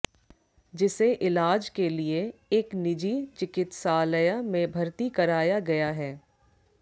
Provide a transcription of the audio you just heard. जिसे इलाज के लिए एक निजी चिकित्सालय में भर्ती कराया गया है